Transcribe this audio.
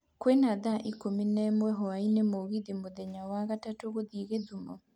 kwĩna thaa ikũmi na ĩmwe hwaĩinĩ mũgithi mũthenya wa wagatatũ gũthiĩgithumo